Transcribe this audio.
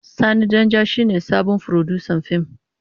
Sani Danja shine sabon furodusan fim.